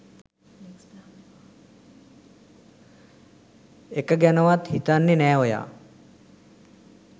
එක ගැනවත් හිතන්නෙ නෑ ඔයා